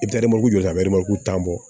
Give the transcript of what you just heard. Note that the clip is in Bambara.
I bɛ taa jɔ tan bɔ